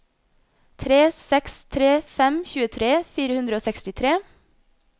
tre seks tre fem tjuetre fire hundre og sekstitre